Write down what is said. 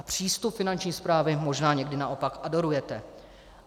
A přístup Finanční správy možná někdy naopak adorujete.